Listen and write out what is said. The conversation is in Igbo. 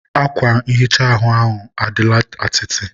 akwa nhicha ahụ adịla atịtị